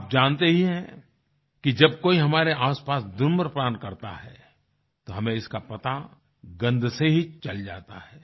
आप जानते ही हैं कि जब कोई हमारे आसपास धूम्रपान करता है तो हमें इसका पता गंध से ही चल जाता है